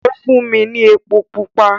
Ó fún mi ní epo pupa.